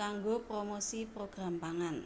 kanggo promosi program pangan